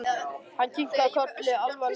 Hann kinkaði kolli alvarlegur í bragði.